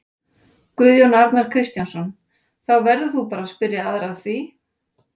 Guðjón Arnar Kristjánsson: Þá verður þú bara spyrja aðra að því?